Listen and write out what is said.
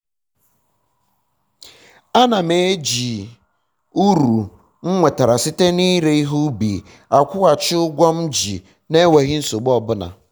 a na m eji m uru um m nwetara site na ire ihe ubi akwughachi ụgwọ um m ji um na-enweghi nsogbu ọbụla